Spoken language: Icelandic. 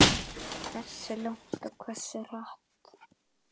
Hversu langt og hversu hratt.